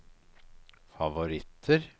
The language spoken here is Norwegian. favoritter